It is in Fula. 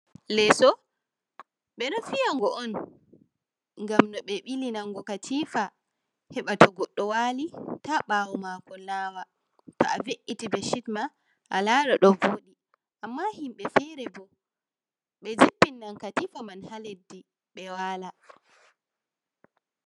Leeso ɓe ɗo fiya go on ngam no ɓe ɓili naga katifa heɓa to goɗɗo wali ta ɓawo mako nawa, to a veiti beshit ma a lara ɗo voɗi, amma himɓɓe fere bo ɓe jippinan katifa man ha leddi ɓe wala.